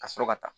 Ka sɔrɔ ka taa